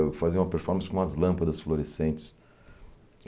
Eu fazia uma performance com umas lâmpadas florescentes.